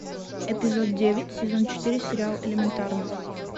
эпизод девять сезон четыре сериал элементарно